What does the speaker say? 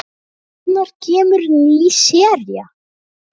Hvenær kemur ný sería?